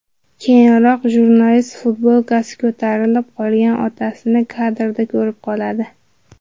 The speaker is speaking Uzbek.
Keyinroq jurnalist futbolkasi ko‘tarilib qolgan otasini kadrda ko‘rib qoladi.